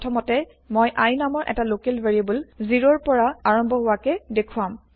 প্ৰথমতে মই i নামৰ এটা লোকেল ভেৰিএবল ০ ৰ পৰা আৰম্ভ হোৱাকে দেখুৱাম